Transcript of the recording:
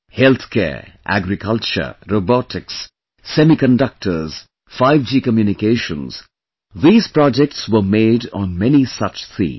Healthcare, Agriculture, Robotics, Semiconductors, 5G Communications, these projects were made on many such themes